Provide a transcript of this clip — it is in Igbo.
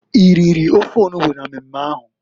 I riri ofe onugbo na mmemme ahụ?